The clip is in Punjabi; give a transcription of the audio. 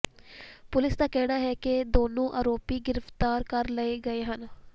ਪੁਲਿਸ ਦਾ ਕਹਿਣਾ ਹੈ ਕਿ ਦੋਨੋਂ ਆਰੋਪੀ ਗ੍ਰਿਫਤਾਰ ਕਰ ਲਏ ਗਏ ਹਨ